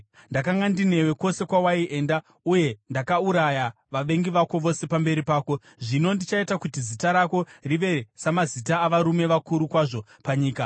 Ndakanga ndinewe kwose kwawaienda uye ndakauraya vavengi vako vose pamberi pako. Zvino ndichaita kuti zita rako rive samazita avarume vakuru kwazvo panyika.